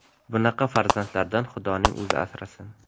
Bunaqa farzandlardan Xudoning o‘zi asrasin.